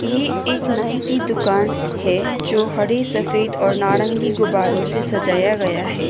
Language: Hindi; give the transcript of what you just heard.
ये एक नाई की दुकान है जो हरे सफेद और नारंगी गुब्बारों से सजाया गया है।